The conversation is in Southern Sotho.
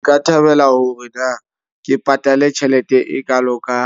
Nka thabela hore na ke patale tjhelete e kalo ka